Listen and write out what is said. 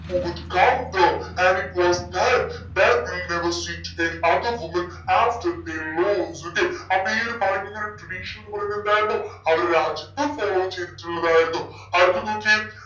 who would okay അപ്പോ ഈ ഒരു point ന്റെ tradition എന്നുപറയുന്നതെന്തായിരുന്നു ആ ഒരു രാജ്യത്ത് follow ചെയ്തിട്ടുള്ളതായിരുന്നു അടുത്തത് നോക്കിയേ